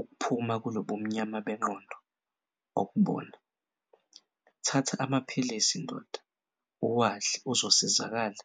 ukuphuma kulobumnyama bengqondo okubona. Thatha amaphilisi ndoda, uwadle uzosizakala